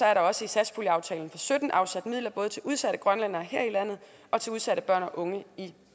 er der også i satspuljeaftalen og sytten afsat midler til både udsatte grønlændere her i landet og til udsatte børn og unge i